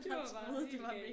Det var bare helt galt